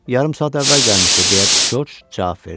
Yarım saat əvvəl gəlmişdi, deyə Corc cavab verdi.